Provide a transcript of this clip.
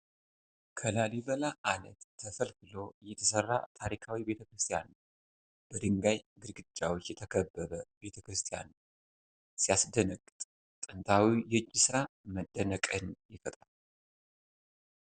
ከላሊበላ ዓለት ተፈልፍሎ የተሰራ ታሪካዊ ቤተ ክርስቲያን ነው ። በድንጋይ ግድግዳዎች የተከበበ ቤተ ክርስቲያን ነው። ሲያስደነግጥ! ጥንታዊው የእጅ ሥራ መደነቅን ይፈጥራል።